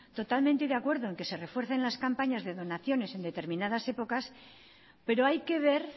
totalmente de acuerdo en que se refuercen las campañas de donaciones en determinadas épocas pero hay que ver